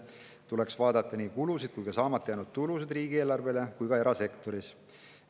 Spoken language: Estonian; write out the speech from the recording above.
Tuleks vaadata nii riigieelarve kulusid kui ka saamata jäänud tulusid, seda ka erasektori puhul.